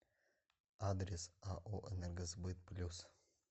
адрес ао энергосбыт плюс